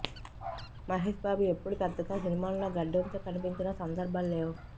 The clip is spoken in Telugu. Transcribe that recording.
మహేష్ బాబు ఎప్పుడు పెద్దగా సినిమాల్లో గడ్డంతో కనిపించిన సందర్భాలు లేవు